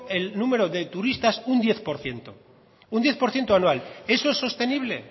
el número de turistas un diez por ciento anual eso es sostenible